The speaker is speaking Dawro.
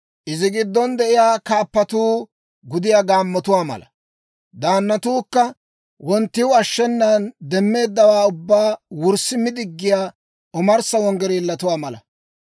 Izi giddon de'iyaa kaappatuu gudiyaa gaammotuwaa mala; daannatuukka wonttiw ashshenan demmeeddawaa ubbaa wurssi mi diggiyaa omarssa wanggireellotuwaa mala.